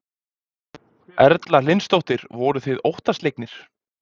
Erla Hlynsdóttir: Voruð þið óttaslegnir?